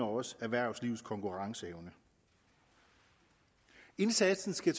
også erhvervslivets konkurrenceevne indsatsen skal